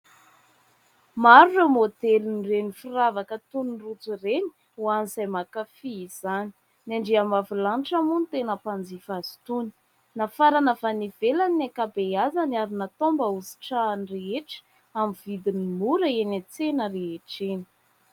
Maro ireo modelin'ireny firavaka toy ny rojo ireny ho an'izay mankafy izany. Ny andriam-bavilanitra moa no tena mpanjifa azy itony. Nafarana avy any ivelany ny ankabeazany ary natao mba ho sitrahan'ny rehetra amin'ny vidiny mora eny an-tsena rehetra eny.